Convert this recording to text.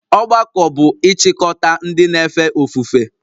Ọgbakọ bụ ịchịkọta ndị na-efe ofufe